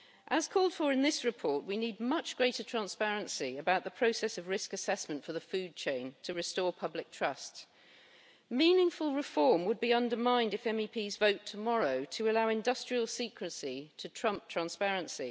As called for in this report, we need much greater transparency about the process of risk assessment for the food chain, in order to restore public trust. Meaningful reform would be undermined if MEPs vote tomorrow to allow industrial secrecy to trump transparency.